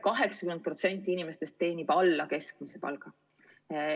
80% inimestest teenib alla keskmise palga.